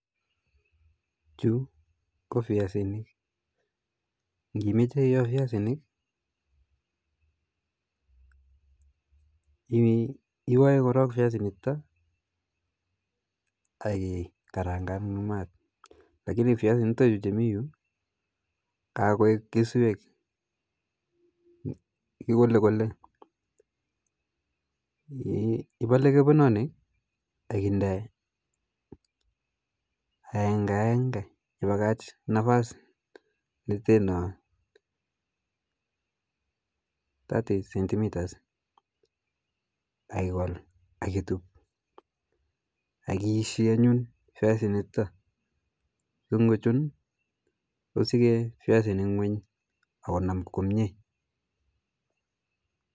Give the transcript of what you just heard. Chu ko viasinik ,kimeche ioa viasinik iwae korok viasinik chuta ak ikaranga in mat, lakini chutachu chemi yu kakoek keswek ,ikole kole ipale kepenonik ak inde aenge aenge ak ipakach nafasit neteno 30cm akikol akitup, akiiishi anyun viasinik chuta songochun kusichee viasinik ngweny akonam komiee